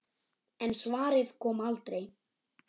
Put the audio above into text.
En svarið kom aldrei.